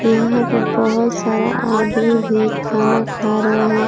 यहां पे बहुत सारा आदमी भी खाना खा रहे हैं।